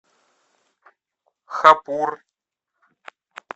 хапур